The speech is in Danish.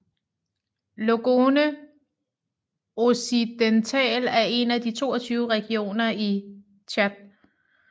Logone Occidental er en af de 22 regioner i Tchad